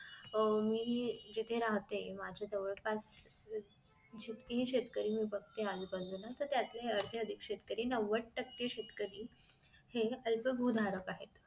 अह मी जिथं राहते माझ्या जवळपास जितके हि मी शेतकरी बघते आजूबाजूला त्यातले अर्धे अधिक शेतकरी नंवद टक्के शेतकरी हे अल्प भू धारक आहेत